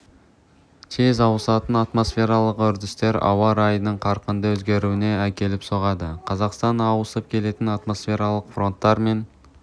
тез ауысатын атмосфералық үрдістер ауа райының қарқынды өзгеруіне әкеліп соғады қазақстан ауысып келетін атмосфералық фронттар мен